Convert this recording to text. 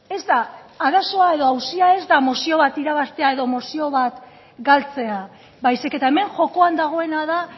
ez da arazoa edo auzia ez da mozio bat irabaztea edo mozio bat galtzea baizik eta hemen jokoan dagoena da